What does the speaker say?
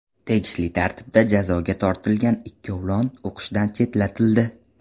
Tegishli tartibda jazoga tortilgan ikkovlon o‘qishdan chetlatildi.